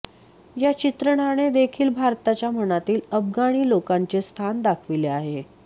या चित्रणाने देखील भारताच्या मनातील अफगाणी लोकांचे स्थान दाखविले आहे